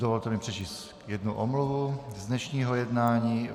Dovolte mi přečíst jednu omluvu z dnešního jednání.